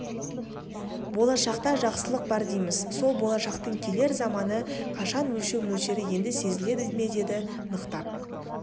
болашақта жақсылық бар дейміз сол болашақтың келер заманы қашан өлшеу мөлшері енді сезіле ме деді нықтап